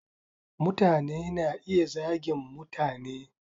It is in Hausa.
Mutane na iya zagin mutane.